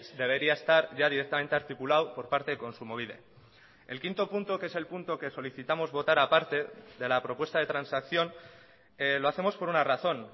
debería estar ya directamente articulado por parte de kontsumobide el quinto punto que es el punto que solicitamos votar aparte de la propuesta de transacción lo hacemos por una razón